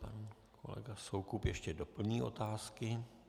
Pan kolega Soukup ještě doplní otázky.